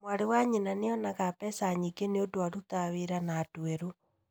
Mwarĩ wa nyina nĩonaga mbeca nyingĩ nĩũndũ arutaga wĩra na andũ erũ.